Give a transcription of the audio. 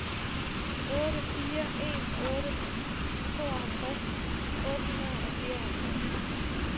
otte fire en otte tooghalvtreds otte hundrede og fireoghalvtreds